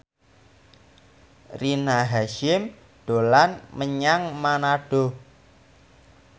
Rina Hasyim dolan menyang Manado